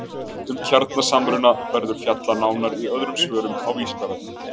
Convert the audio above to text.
Um kjarnasamruna verður fjallað nánar í öðrum svörum á Vísindavefnum.